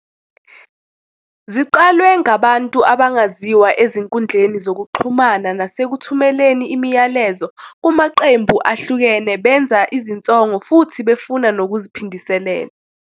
Ziqalwe ngabantu abangaziwa ezinkundleni zokuxhumana nasekuthumeleni imiyalezo kumaqembu ehlukene benza izinsongo futhi befuna nokuziphindiselela.